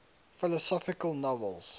philosophical novels